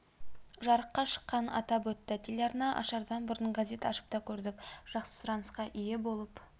жарыққа шыққанын атап өтті телеарна ашардан бұрын газет ашып та көрдік жақсы сұранысқа ие болып